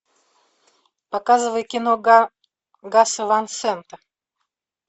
показывай кино гаса ван сента